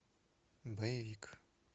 боевик